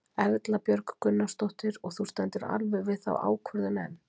Erla Björg Gunnarsdóttir: Og þú stendur alveg við þá ákvörðun enn?